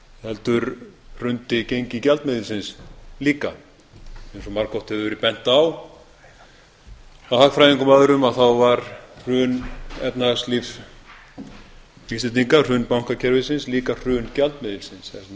heldur hrundi gengi gjaldmiðilsins líka eins og margoft hefur verið bent á af hagfræðingum og öðrum þá var hrun efnahagslífs íslendinga hrun bankakerfisins líka hrun gjaldmiðilsins